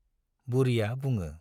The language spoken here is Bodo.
बुरिया बुङो।